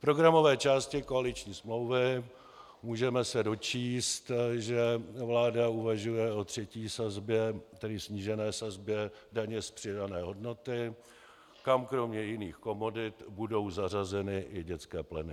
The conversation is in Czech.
V programové části koaliční smlouvy se můžeme dočíst, že vláda uvažuje o třetí sazbě, tedy snížené sazbě daně z přidané hodnoty, kam kromě jiných komodit budou zařazeny i dětské pleny.